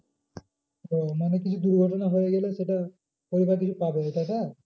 ও মানে কিছু দুর্ঘটনা হয়ে গেলে সেটা পরিবার কিছু পাবে ওইটা ওটা?